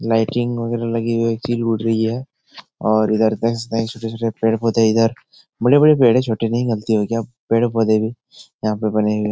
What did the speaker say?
Lighting वगैरा लगी हुई है। चील उड़ रही है और इधर दस नए छोटे-छोटे पेड़-पौधे इधर बड़े-बड़े पेड़ है छोटे नहीं। गलती हो गया। पेड़-पौधे भी यहाँ पर बने हुए --